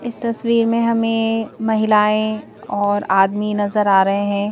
इस तस्वीर में हमें महिलाएं और आदमी नजर आ रहे है।